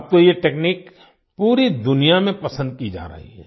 अब तो ये तकनीक पूरी दुनिया में पसंद की जा रही है